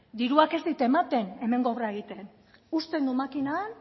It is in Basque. diruak ez dit ematen hemengo obra egiten uzten du makina han